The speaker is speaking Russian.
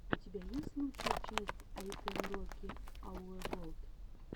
у тебя есть лучшая часть ай кэн роки ауэ волд